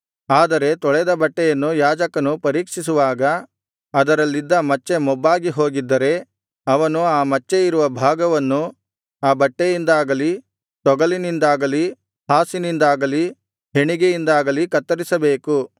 ಆದರೆ ತೊಳೆದ ಬಟ್ಟೆಯನ್ನು ಯಾಜಕನು ಪರೀಕ್ಷಿಸುವಾಗ ಅದರಲ್ಲಿದ್ದ ಮಚ್ಚೆ ಮೊಬ್ಬಾಗಿಹೋಗಿದ್ದರೆ ಅವನು ಆ ಮಚ್ಚೆ ಇರುವ ಭಾಗವನ್ನು ಆ ಬಟ್ಟೆಯಿಂದಾಗಲಿ ತೊಗಲಿನಿಂದಾಗಲಿ ಹಾಸಿನಿಂದಾಗಲಿ ಹೆಣಿಗೆಯಿಂದಾಗಲಿ ಕತ್ತರಿಸಬೇಕು